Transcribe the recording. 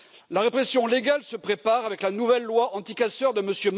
La répression légale se prépare avec la nouvelle loi anticasseurs de M.